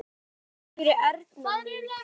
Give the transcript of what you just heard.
Hafðu þökk fyrir, Erna mín.